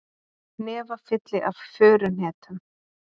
Hnefafylli af furuhnetum